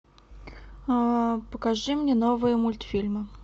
покажи мне новые мультфильмы